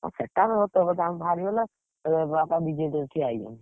ଅ ସେଟା ତ ସତ କଥା ବାହାରିଗଲା। ଏବେ ମୋ ବାପା BJD ରେ ଠିଆ ହେଇଛନ୍ତି।